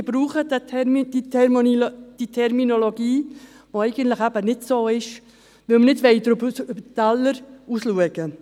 Ich benutze diese Terminologie, die eigentlich nicht so ist, weil wir nicht über den Tellerrand hinausschauen wollen.